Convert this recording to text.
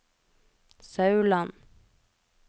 Sauland